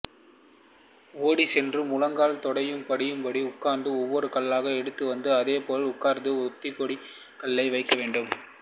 ஓடிச் சென்று முழங்காலும் தொடையும் படியும்படி உட்கார்ந்து ஒவ்வொரு கல்லாக எடுத்துவந்து அதேபோல் உட்கார்ந்து உத்திக்கோட்டில் கல்லை வைக்க வேண்டும்